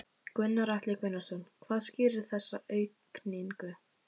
Gunnar Atli Gunnarsson: Hvað skýrir þessa aukningu?